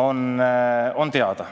on teada.